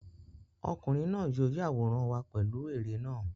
Ọkùnrin náà yóò yàwórán wa pẹ̀lú ère náà.